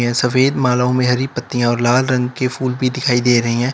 सफेद मालाओं में हरी पत्तियां और लाल रंग के फूल भी दिखाई दे रही हैं।